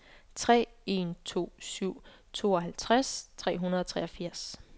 tre en to syv tooghalvtreds tre hundrede og treogfirs